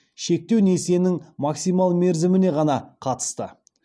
шектеу несиенің максимал мерзіміне ғана қатысты